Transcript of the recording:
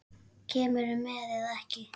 Kemurðu með eða ekki.